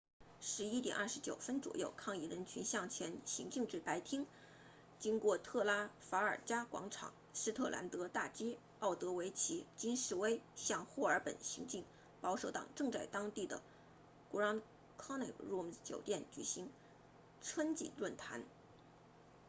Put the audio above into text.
11点29分左右抗议人群向前行进至白厅经过特拉法尔加广场斯特兰德大街奥德维奇京士威向霍尔本行进保守党正在当地的 grand connaught rooms 酒店举行春季论坛